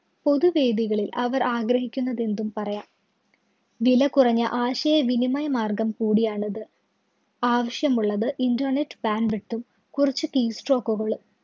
പൊതു വേദികളില്‍ അവര്‍ ആഗ്രഹിക്കുന്നതെന്തും പറയാം. വില കുറഞ്ഞ ആശയവിനിമയ മാര്‍ഗ്ഗം കൂടിയാണത്. ആവശ്യമുള്ളത് internet bandwidth കുറച്ച് t stock കളും.